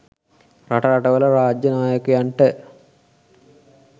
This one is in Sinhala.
රට රටවල රාජ්‍ය නායකයන්ට